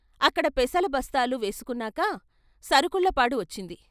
అక్కడ పెసల బస్తాలు వేసుకున్నాక సరుకుళ్ళపాడు వచ్చింది.